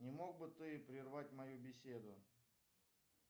не мог бы ты прервать мою беседу